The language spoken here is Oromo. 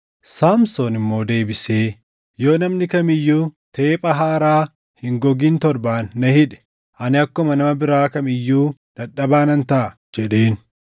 Saamsoon immoo deebisee, “Yoo namni kam iyyuu teepha haaraa hin gogin torbaan na hidhe, ani akkuma nama biraa kam iyyuu dadhabaa nan taʼa” jedheen.